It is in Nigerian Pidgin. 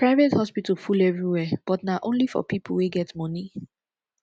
private hospital full everywhere but na only for pipo wey get moni